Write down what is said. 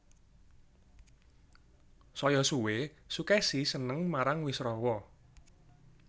Saya suwé Sukesi seneng marang Wisrawa